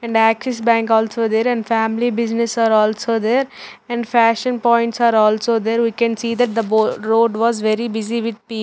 And axis bank also there and family business are also there and fashion points are also there. We can see that the in the bo road was very busy with pi --